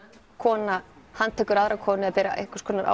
kona hann tekur aðra konu eða ber einhvers konar